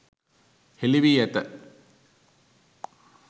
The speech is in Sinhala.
හෙළි වී ඇත.